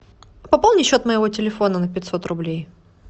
пополни счет моего телефона на пятьсот рублей